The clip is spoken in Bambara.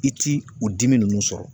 I ti u dimi nunnu sɔrɔ.